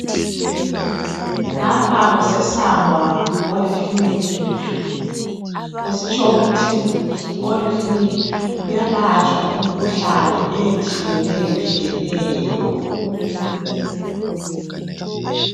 lapha kusesangwa polyclinic kusitsho ukuthi polyclinic kuyalatshwa imikhuhlane etshiyeneyo tshiyeneyo